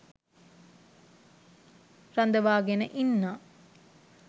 රඳවා ගෙන ඉන්නා